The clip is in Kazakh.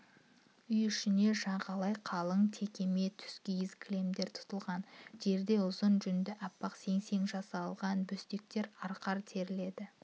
үй ішіне жағалай қалыңтекемет тұскиіз кілемдер тұтылған жерде ұзын жүнді аппақ сеңсеңнен жасалған бөстектер арқар терілері